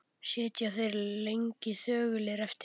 Sitja þeir lengi þögulir eftir.